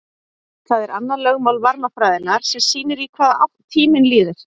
það er annað lögmál varmafræðinnar sem sýnir í hvaða átt tíminn líður